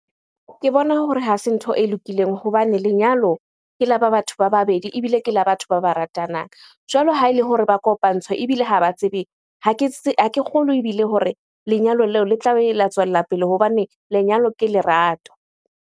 Ke bona hore ha se ntho e lokileng hobane lenyalo ke la batho ba babedi ebile ke la batho ba ba ratanang. Jwalo ha ele hore ba kopantshwa ebile ha ba tsebe ha ke kgolwe ebile hore lenyalo leo le tla be le tswella pele hobane lenyalo ke lerato.